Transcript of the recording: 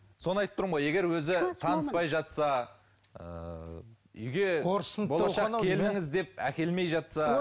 соны айтып тұрмын ғой егер өзі таныспай жатса ыыы үйге болашақ келініңіз деп әкелмей жатса